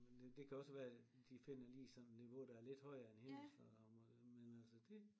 Men det kan også være de finder lige sådan niveau der er lidt højere end hendes og rammer men altså det